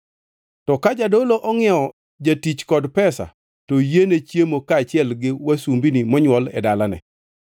To ka jadolo ongʼiewo jatich kod pesa to oyiene chiemo kaachiel gi wasumbini monywol e dalane.